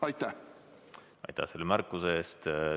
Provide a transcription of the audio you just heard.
Aitäh selle märkuse eest!